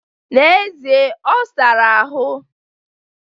Na'ezie ọ sara ahụ.